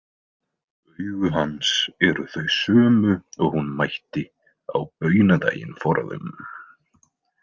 Augu hans eru þau sömu og hún mætti á baunadaginn forðum.